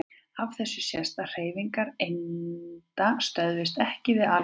Af þessu sést að hreyfingar einda stöðvast EKKI við alkul.